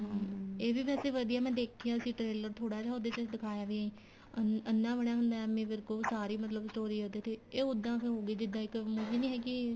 ਹਮ ਇਹ ਵੀ ਵੈਸੇ ਵਧੀਆ ਮੈਂ ਦੇਖਿਆ ਸੀ trailer ਥੋੜਾ ਜਾ ਉਹਦੇ ਚ ਦਿਖਾਇਆ ਵੀ ਅੰਨ੍ਹਾ ਬਣਿਆ ਹੁੰਦਾ ਏਮੀ ਵਿਰਕ ਉਹ ਸਾਰੀ ਮਤਲਬ story ਉਹਦੇ ਤੇ ਇਹ ਉੱਦਾਂ ਦੀ ਹੋਗੀ ਜਿੱਦਾਂ ਇੱਕ movie ਨੀ ਹੈਗੀ